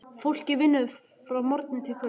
Fólkið vinnur frá morgni til kvölds.